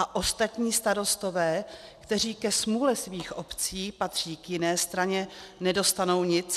A ostatní starostové, kteří ke smůle svých obcí patří k jiné straně, nedostanou nic?